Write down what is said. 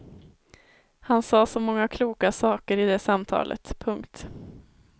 Han sade så många kloka saker i det samtalet. punkt